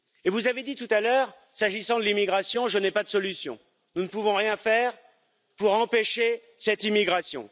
Vous avez dit tout à l'heure, s'agissant de l'immigration, que vous n'aviez pas de solution, que nous ne pouvions rien faire pour empêcher cette immigration.